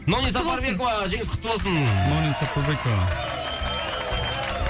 номи сапарбекова жеңіс құтты болсын номи сапарбекова